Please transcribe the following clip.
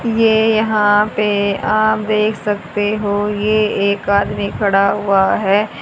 ये यहां पे आप देख सकते हो ये एक आदमी खड़ा हुआ है।